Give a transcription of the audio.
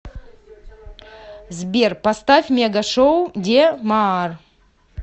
сбер поставь мега шоу де маар